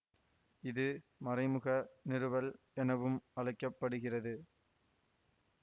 இது மறைமுக நிறுவல் எனவும் அழைக்க படுகிறது